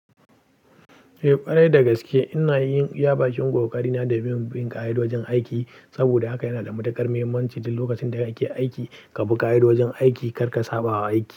Eh, ƙwarai da gaske ina yin iya bakin ƙoƙarina domin bin ƙa'idojinaiki saboda haka yanada matuƙar mahimmanci duk lokacin da ake aiki kabi ƙa'idojin aiki karka sabawa aiki.